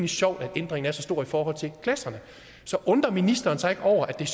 sjovt at ændringen er så stor i forhold til klasserne så undrer ministeren sig ikke over at der